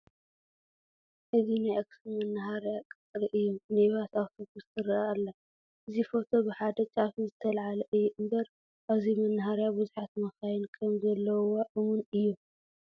እዚ ናይ ኣኽሱም መነሃርያ ቅፅሪ እዩ፡፡ ሚኒባስ ኣውቶቡስ ትርአ ኣላ፡፡ እዚ ፎቶ ብሓደ ጫፍ ስለዝተላዕለ እዩ እምበር ኣብዚ መነሃርያ ብዙሓት መኻይን ከምዘለዉዋ እሙን እዩ፡፡